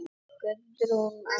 Guðrún: Annað ekki?